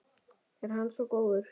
Er hann svo góður?